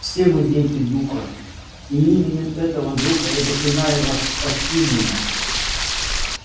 все мы дети духа и именем этого духа я заклинаю вас спасти меня